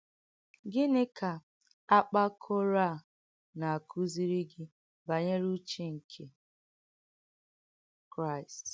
Gìní kà àkpàkọ̀rò á nà-àkùzìrì gị bànyerè úchè nkè Kráìst?